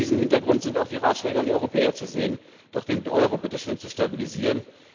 Vor diesem Hintergrund sind auch die Ratschläge an die Europäer zu sehen, doch bitteschön den Euro zu stabilisieren.